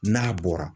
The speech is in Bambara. N'a bɔra